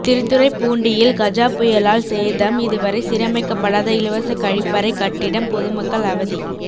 திருத்துறைப்பூண்டியில் கஜா புயலால் சேதம் இதுவரை சீரமைக்கப்படாத இலவச கழிப்பறை கட்டிடம் பொதுமக்கள் அவதி